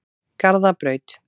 Garðabraut